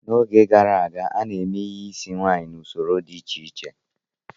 N'oge gara aga, a na-eme ihe isi nwaanyị n'usoro dị iche iche.